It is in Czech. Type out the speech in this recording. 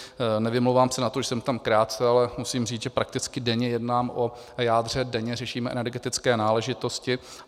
Nevymlouvám se na to, že jsem tam krátce, ale musím říct, že prakticky denně jednám o jádře, denně řešíme energetické náležitosti.